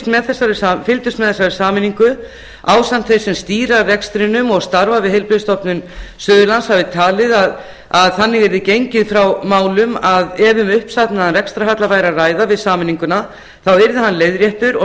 með þessari sameiningu ásamt þeim sem stýra rekstrinum og starfa við heilbrigðisstofnun suðurlands hafi talið að þannig yrði gengið frá málum að ef um uppsafnaðan rekstrarhalla væri að ræða við sameininguna þá yrði hann leiðréttur og